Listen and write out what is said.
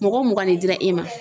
Mɔgɔ mugan de dira e ma.